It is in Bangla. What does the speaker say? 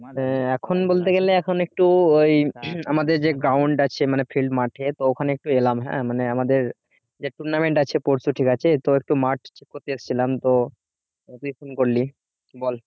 হ্যাঁ এখন বলতে গেলে এখন একটু ওই আমাদের যে ground আছে মানে field মাঠে তো ওখানে একটি এলাম হ্যাঁ মানে আমাদের যে টুনামেন্ট আছে পরশু ঠিক আছে তো একটু মাঠ ছিলাম তো করলি বল